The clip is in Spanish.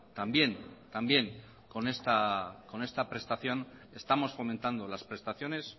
también con esta prestación estamos fomentando las prestaciones